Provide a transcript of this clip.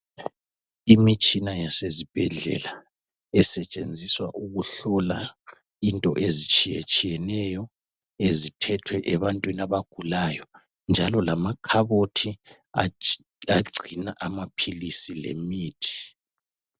Imitshina yasezibhedlela esetshenziswa ukuhlola into ezitshiyetshiyeneyo ezithethwe ebantwini abagulayo njalo lamakhabothi agcina amaphilisi lemithi.